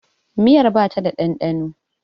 Miyar ba ta da ɗanɗano.